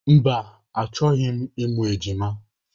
Mba, achọghị m ịmụ ejima.